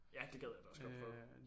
Ja det gad jeg da også godt prøve